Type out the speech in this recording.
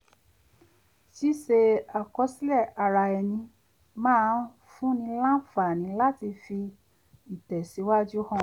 ṣíṣe àkọsílẹ̀ ara ẹni máa ń fúnni láǹfààní láti fi ìtẹ̀síwájú hàn